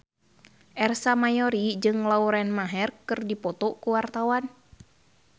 Ersa Mayori jeung Lauren Maher keur dipoto ku wartawan